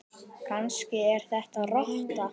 Kannski er þetta rotta?